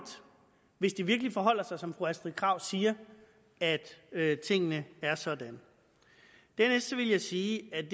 hvis det virkelig forholder sig som fru astrid krag siger altså at tingene er sådan dernæst vil jeg sige at